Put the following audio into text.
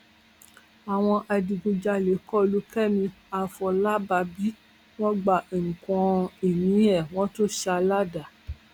àwọn adigunjalè kọ lu kẹmi àfọlábàbí wọn gba nǹkan ìní ẹ wọn tún ṣá a ládàá